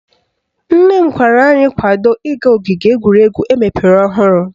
Nne m gwara anyị kwado ịga ogige egwuregwu emepere ọhụrụ